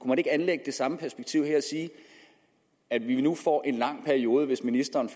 man ikke anlægge det samme perspektiv her og sige at vi nu får en lang periode hvis ministeren